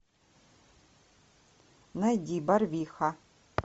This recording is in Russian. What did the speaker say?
найди барвиха